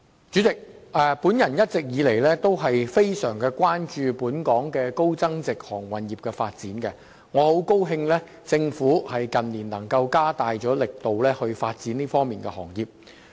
主席，我一直以來非常關注本港高增值航運服務業的發展，很高興政府近年加大力度發展這個行業。